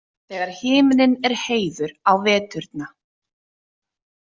Þegar himinn er heiður á veturna.